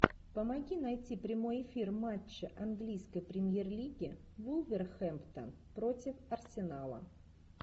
помоги найти прямой эфир матча английской премьер лиги вулверхэмптон против арсенала